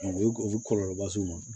U ye u bɛ kɔlɔlɔba s'u ma